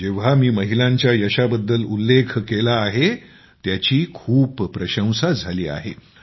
जेव्हा मी महिलांच्या यशाबद्दल उल्लेख केला आहे त्यांची खूप प्रशंसा केली गेली आहे